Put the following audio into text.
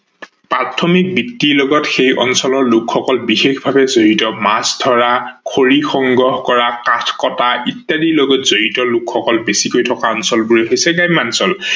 প্ৰাথমিক বৃত্তি লগত সেই অঞ্চলৰ লোক সকল বিশেষভাবে জড়িত, মাছ ধৰা, খৰি সংগ্ৰহ কৰা, কাঠ কতা ইত্যাদি লগত জড়িত লোক সকল বেছিকৈ থকা অঞ্চল বোৰেই হৈছে গ্ৰাম্যাঞ্চল।